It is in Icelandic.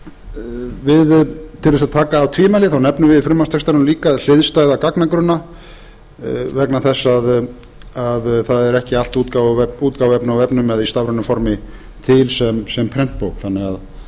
til þess að taka af öll tvímæli nefnum við í frumvarpstextanum líka hliðstæða gagnagrunna vegna þess að það er ekki allt útgáfuefni á vefnum eða í stafrænu formi til sem prentbók þannig að hér er